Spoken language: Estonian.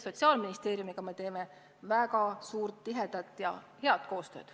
Sotsiaalministeeriumiga me teeme väga tihedat ja head koostööd.